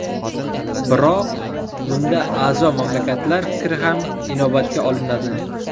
Biroq bunda a’zo mamlakatlar fikri ham inobatga olinadi.